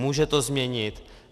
Může to změnit.